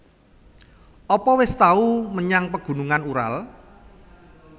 Apa wis tau menyang Pegunungan Ural